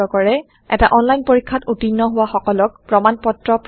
এটা অন্লাইন পৰীক্ষাত উত্তীৰ্ণ হোৱা সকলক প্ৰমাণ পত্ৰ প্ৰদান কৰে